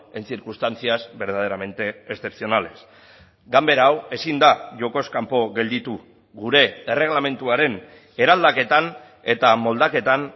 en circunstancias verdaderamente excepcionales ganbera hau ezin da jokoz kanpo gelditu gure erregelamenduaren eraldaketan eta moldaketan